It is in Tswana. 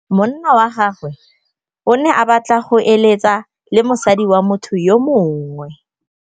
Monna wa gagwe o ne a batla go êlêtsa le mosadi wa motho yo mongwe.